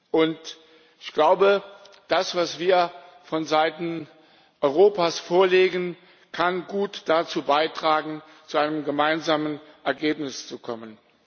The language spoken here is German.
Und ich glaube, das, was wir von Seiten Europas vorlegen, kann gut dazu beitragen, zu einem gemeinsamen Ergebnis zu kommen.